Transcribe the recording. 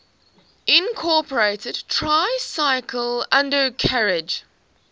incorporated tricycle undercarriage